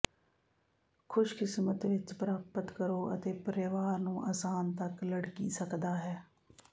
ਖੁਸ਼ਕਿਸਮਤ ਵਿੱਚ ਪ੍ਰਾਪਤ ਕਰੋ ਅਤੇ ਪਰਿਵਾਰ ਨੂੰ ਆਸਾਨ ਤੱਕ ਲੜਕੀ ਸਕਦਾ ਹੈ